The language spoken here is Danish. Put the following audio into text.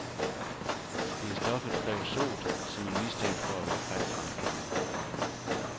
Det er stoffet creosot, som er mistænkt for at være kræftfremkaldende.